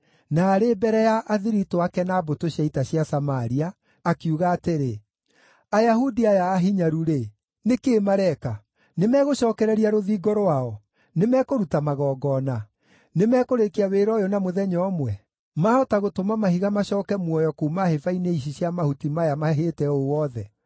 na arĩ mbere ya athiritũ ake na mbũtũ cia ita cia Samaria, akiuga atĩrĩ, “Ayahudi aya ahinyaru-rĩ, nĩ kĩĩ mareka? Nĩmegũcookereria rũthingo rwao? Nĩmekũruta magongona? Nĩmekũrĩkia wĩra ũyũ na mũthenya ũmwe? Maahota gũtũma mahiga macooke muoyo kuuma hĩba-inĩ ici cia mahuti maya mahĩĩte ũũ wothe?”